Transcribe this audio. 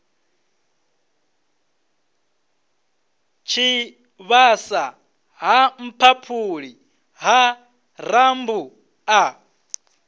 tshivhasa ha mphaphuli ha rambuḓa